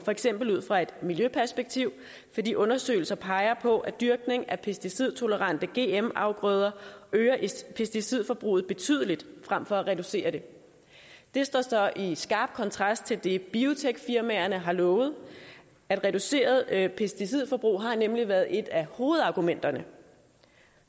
for eksempel ud fra et miljøperspektiv fordi undersøgelser peger på at dyrkning af pesticidtolerante gm afgrøder øger pesticidforbruget betydeligt frem for at reducere det det står så i skarp kontrast til det biotekfirmaerne har lovet reduceret pesticidforbrug har nemlig været et af hovedargumenterne